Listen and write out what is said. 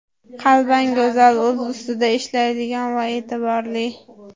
Qalban go‘zal, o‘z ustida ishlaydigan va e’tiborli.